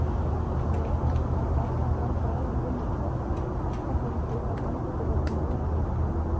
Mér tekst að sarga fram gráan vinnuslopp, eltar hendur, en andlitið hefur máðst út.